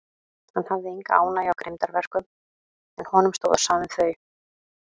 Hann hafði enga ánægju af grimmdarverkum, en honum stóð á sama um þau.